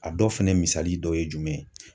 A dɔ fɛnɛ misali dɔ ye jumɛn ye.